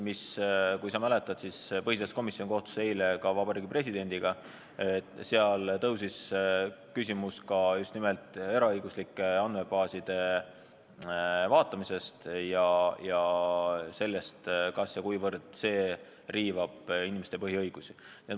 Kui sa mäletad, siis põhiseaduskomisjon kohtus eile Vabariigi Presidendiga ja tekkis just nimelt eraõiguslike andmebaaside vaatamise küsimus, kas ja kuivõrd see riivab inimeste põhiõigusi.